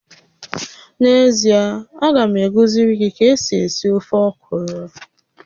N'ezie, a ga m akuziri gi ka esi esi ofe ọkwụrụ